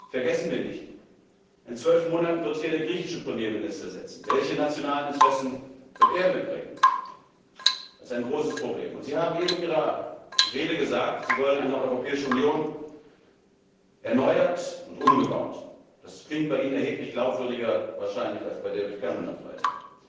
Vergessen wir nicht, in zwölf Monaten wird hier der griechische Premierminister sitzen. Welche nationalen Interessen wird er mitbringen? Das ist ein großes Problem. Sie haben eben in Ihrer Rede gesagt, Sie wollen eine erneuerte und umgebaute Europäische Union. Das klingt bei Ihnen erheblich glaubwürdiger als wahrscheinlich bei David Cameron am